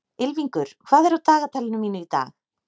Ylfingur, hvað er á dagatalinu mínu í dag?